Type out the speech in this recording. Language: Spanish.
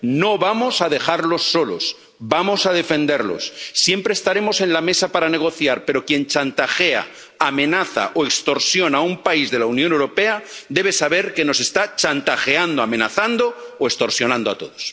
No vamos a dejarlos solos, vamos a defenderlos. Siempre estaremos en la mesa para negociar, pero quien chantajea, amenaza o extorsiona a un país de la Unión Europea debe saber que nos está chantajeando, amenazando o extorsionando a todos.